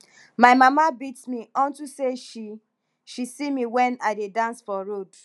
my mama beat me unto say she she see me wen i dey dance for road